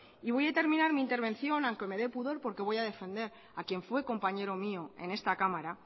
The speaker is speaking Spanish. voy a terminar mi intervención aunque me de pudor porque voy a defender a quien fue compañero mío en esta cámara